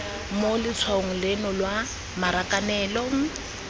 mo letshwaong leno lwa marakanelong